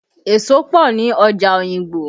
Èso pọ ni ọjà Oyingbo